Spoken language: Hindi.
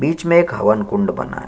बिच में एक हवन कुंड बना है।